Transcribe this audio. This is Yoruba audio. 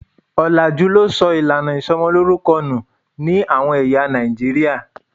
Òlàjú ló sọ ìlànà ìsomolórúkọ nù ní àwọn ẹ̀yà Nàìjíríà.